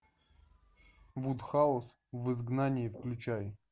вуд хаус в изгнании включай